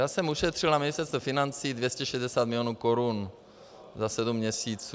Já jsem ušetřil na Ministerstvu financí 260 milionů korun za sedm měsíců.